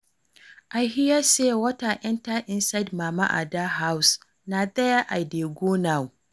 I hear say water enter inside mama Ada house, na there I dey go now